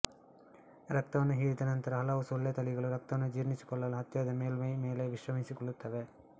ರಕ್ತವನ್ನು ಹೀರಿದ ನಂತರ ಹಲವು ಸೊಳ್ಳೆ ತಳಿಗಳು ರಕ್ತವನ್ನು ಜೀರ್ಣಿಸಿಕೊಳ್ಳಲು ಹತ್ತಿರದ ಮೇಲ್ಮೈ ಮೇಲೆ ವಿಶ್ರಮಿಸಿಕೊಳ್ಳುತ್ತವೆ